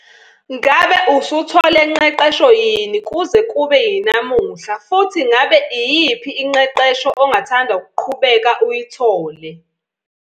Ngabe usuthole ngqeqesho yini kuze kube yinamuhla futhi ngabe iyiphi ingqeqesho ongathanda ukuqhubeka uyithole?